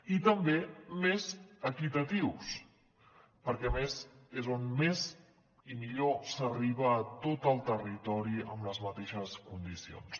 i també més equitatius perquè a més és on més i millor s’arriba a tot el territori amb les mateixes condicions